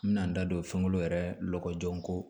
N bɛna n da don fɛnkolon yɛrɛ kɔkɔjɔko